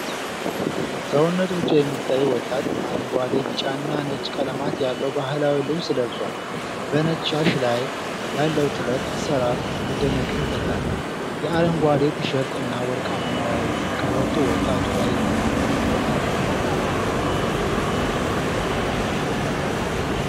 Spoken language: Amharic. ሰውነቱ ብቻ የሚታይ ወጣት፤ አረንጓዴ፣ ቢጫና ነጭ ቀለማት ያለው ባህላዊ ልብስ ለብሷል:: በነጭ ሻሽ ላይ ያለው ጥለት አሰራር መደነቅን ይፈጥራል:: የአረንጓዴው ቲቸርት እና ወርቃማው ቀበቶ ወጣቱ ላይ አምሮበታል::